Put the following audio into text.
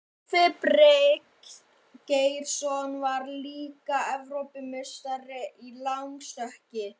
Torfi Bryngeirsson varð líka Evrópumeistari, í langstökki.